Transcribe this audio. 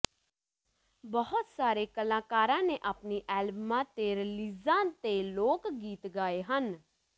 ਬਹੁਤ ਸਾਰੇ ਕਲਾਕਾਰਾਂ ਨੇ ਆਪਣੀਆਂ ਐਲਬਮਾਂ ਅਤੇ ਰਿਲੀਜ਼ਾਂ ਤੇ ਲੋਕ ਗੀਤ ਗਾਏ ਹਨ